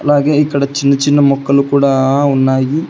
అలాగే ఇక్కడ చిన్న చిన్న మొక్కలు కూడా ఉన్నాయి.